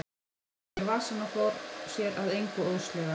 Hann stakk þeim í vasann og fór sér að engu óðslega.